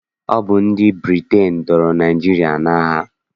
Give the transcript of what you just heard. Ọ bụ ndị Britain dọọrọ Naịjirịa n'agha.